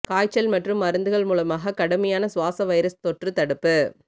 காய்ச்சல் மற்றும் மருந்துகள் மூலமாக கடுமையான சுவாச வைரஸ் தொற்று தடுப்பு